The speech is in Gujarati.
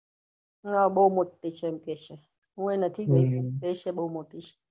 હા, બહુ મોટી છે એમ કેહ્સે હુયે નથી જોય કેહ્સે છે બહુ મોટી.